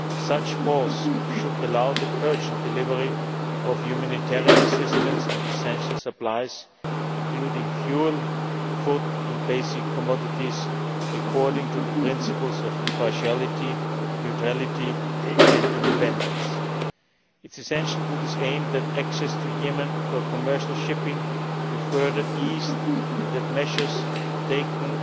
Such a pause should allow the urgent delivery of humanitarian assistance and essential supplies, including fuel, food and basic commodities, according to the principles of impartiality, neutrality and independence. It is essential, to this end, that access to Yemen for commercial shipping be further eased and that measures taken